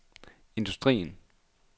industrien